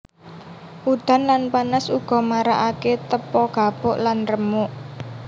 Udan lan panas uga marakake tepo gapuk lan remuk